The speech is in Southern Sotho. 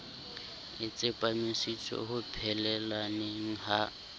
a tsepamisitswe ho phelelaneng ha